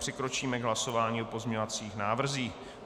Přikročíme k hlasování o pozměňovacích návrzích.